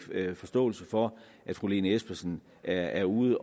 forståelse for at fru lene espersen er er ude